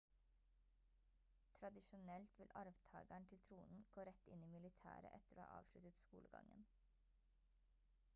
tradisjonelt vil arvtageren til tronen gå rett inn i militæret etter å ha avsluttet skolegangen